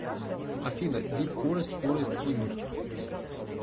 афина дип форест форест химн